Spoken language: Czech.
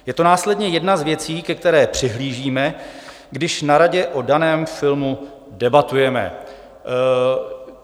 Je to následně jedna z věcí, ke které přihlížíme, když na radě o daném filmu debatujeme."